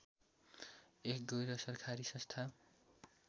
एक गैरसरकारी संस्था